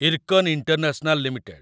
IRCON international limited